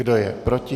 Kdo je proti?